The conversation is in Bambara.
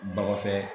Bakɔ fɛn